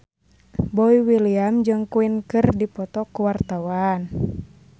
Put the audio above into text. Boy William jeung Queen keur dipoto ku wartawan